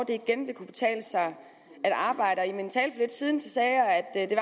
det igen vil kunne betale sig at arbejde og i min tale for lidt siden sagde jeg at det